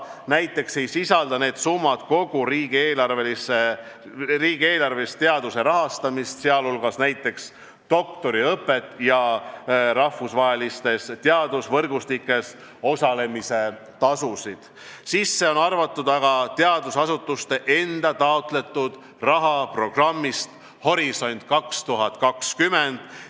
Näiteks ei sisalda need summad kogu riigieelarvelist teaduse rahastamist, sh näiteks doktoriõpet ja rahvusvahelistes teadusvõrgustikes osalemise tasusid, sinna sisse on arvatud aga teadusasutuste enda taotletud raha programmist "Horisont 2020".